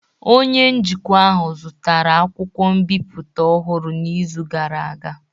Onye njikwa ahụ zụtara akwụkwọ mbipụta ọhụrụ n'izu gara aga.